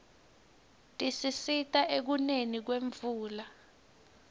tisisita ekuneni kwemvula